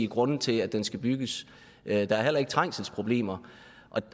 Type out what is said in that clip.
grunde til at den skal bygges der er heller ikke trængselsproblemer